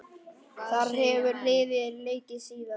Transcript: Þar hefur liðið leikið síðan.